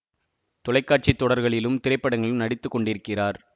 தொலை காட்சி தொடர்களிலும் திரைப்படங்களிலும் நடித்து கொண்டிருக்கிறார்